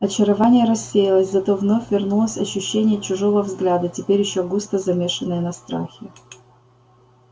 очарование рассеялось зато вновь вернулось ощущение чужого взгляда теперь ещё густо замешенное на страхе